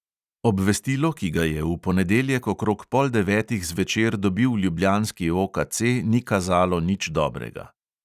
Obvestilo, ki ga je v ponedeljek okrog pol devetih zvečer dobil ljubljanski OKC, ni kazalo nič dobrega.